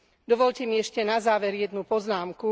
Dovoľte mi ešte na záver jednu poznámku.